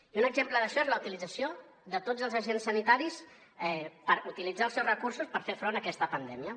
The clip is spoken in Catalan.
i un exemple d’això és la utilització de tots els agents sanitaris per utilitzar els seus recursos per fer front a aquesta pandèmia